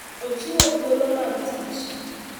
Ochiwo thuolo mag tich.